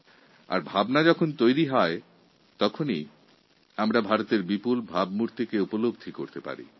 যখন আমাদের মনে এরকম ভাবনা তৈরি হয় তখনই চোখের সামনে অত্যাশ্চর্য ছবি ভেসে ওঠে